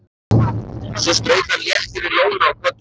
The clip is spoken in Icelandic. Svo strauk hann létt yfir lóna á kollinum.